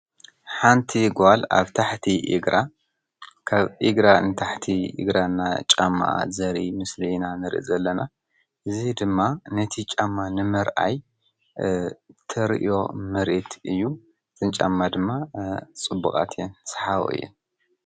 ሓንቲ ጓል ኣብ ታሕቲ እግራ ካብ እግራ ንታሕቲ እግራ እና ጫማኣ ዘርኢ ምስሊ ኢና ንሪኢ ዘለና፡፡ እዚ ድማ ነቲ ጫማ ንምርኣይ ተርእዮ ምርኢት እዩ፡፡ እተን ጫማ ድማ ፅቡቓት እየን ሰሓቦ እየን፡፡